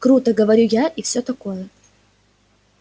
круто говорю я и всё такое